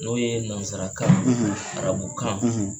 N'o ye nansarakan arabukan